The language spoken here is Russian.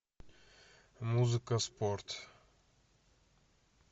музыка спорт